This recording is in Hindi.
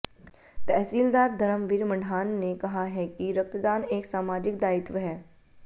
तहसीलदार धर्मवीर मढाण ने कहा है कि रक्तदान एक सामाजिक दायित्व है